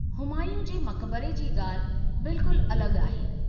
हुमायूं जे मक़बरे जी ॻाल्हि बिल्कुल अलॻि आहे।